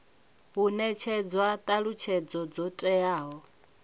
hu netshedzwa thalutshedzo dzo teaho